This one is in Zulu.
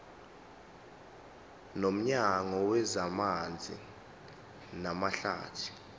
nomnyango wezamanzi namahlathi